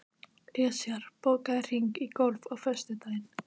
Esjar, bókaðu hring í golf á föstudaginn.